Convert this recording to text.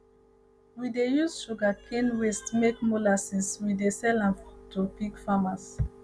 we dey use sugarcane waste make molasses we dey sell am to pig farmers